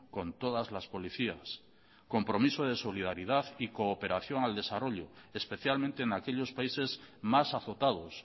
con todas las policías compromiso de solidaridad y cooperación al desarrollo especialmente en aquellos países más azotados